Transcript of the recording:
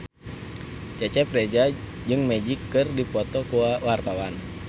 Cecep Reza jeung Magic keur dipoto ku wartawan